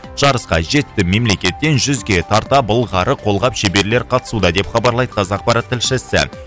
жарысқа жеті мемлекеттен жүзге тарта былғары қолғап шеберлер қатысуда деп хабарлайды қазақпарат тілшісі